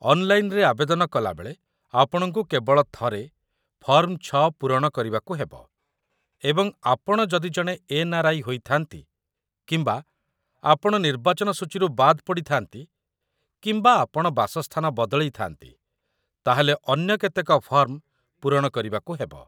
ଅନ୍‌ଲାଇନ୍‌‌ରେ ଆବେଦନ କଲାବେଳେ, ଆପଣଙ୍କୁ କେବଳ ଥରେ ଫର୍ମ ୬ ପୂରଣ କରିବାକୁ ହେବ, ଏବଂ ଆପଣ ଯଦି ଜଣେ ଏନ୍‌.ଆର୍‌.ଆଇ. ହୋଇଥାନ୍ତି, କିମ୍ବା ଆପଣ ନିର୍ବାଚନ ସୂଚୀରୁ ବାଦ ପଡ଼ିଥାନ୍ତି, କିମ୍ବା ଆପଣ ବାସସ୍ଥାନ ବଦଳେଇଥାନ୍ତି, ତା'ହେଲେ ଅନ୍ୟ କେତେକ ଫର୍ମ ପୂରଣ କରିବାକୁହେବ |